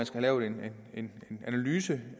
skal laves en en analyse